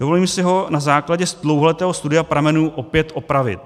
Dovolím si ho na základě dlouholetého studia pramenů opět opravit.